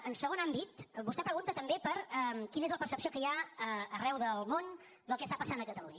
en segon àmbit vostè pregunta també per quina és la percepció que hi ha arreu del món del que està passant a catalunya